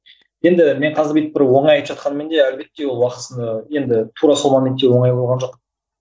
енді мен қазір бүйтіп бір оңай айтып жатқаныммен де әлбетте ол уақытысында енді тура сол моментте оңай болған жоқ